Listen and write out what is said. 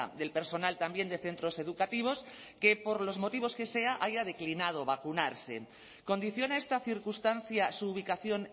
del personal también de centros educativos que por los motivos que sea haya declinado vacunarse condiciona esta circunstancia su ubicación